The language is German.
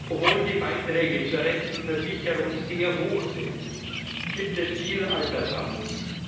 Obwohl die Beiträge zur Rentenversicherung sehr hoch sind, gibt es viel Altersarmut.